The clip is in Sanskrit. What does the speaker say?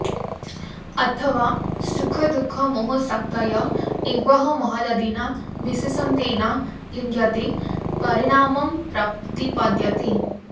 अथवा सुखदुःखमोहशक्तय एवेह महदादिना विशेषान्तेन लिङ्गेन परिणामं प्रतिपद्यन्ते